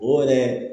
O yɛrɛ